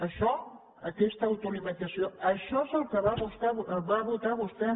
això aquesta autolimitació això és el que va votar vostè